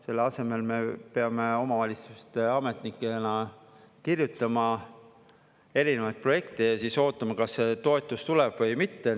Selle asemel me peame omavalitsuste ametnikena kirjutama erinevaid projekte ja siis ootama, kas see toetus tuleb või mitte.